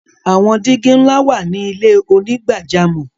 Awọn digi nla wa ni ilẹ̀ onígbàjàmọ́.